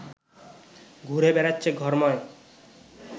ঘুরে বেড়াচ্ছে ঘরময়